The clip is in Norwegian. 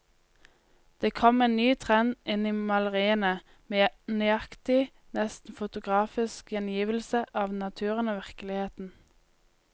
Det kom en ny trend inn i maleriene, med nøyaktig, nesten fotografisk gjengivelse av naturen og virkeligheten.